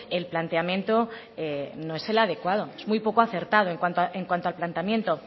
el planteamiento no es el adecuado es muy poco acertado en cuanto al planteamiento